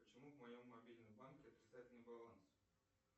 почему в моем мобильном банке отрицательный баланс